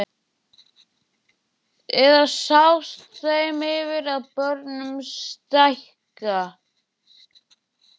Eða sást þeim yfir að börn stækka?